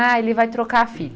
Ah, ele vai trocar a fita.